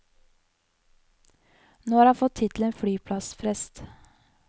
Nå har han fått tittelen flyplassprest.